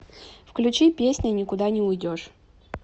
включи песня никуда не уйдешь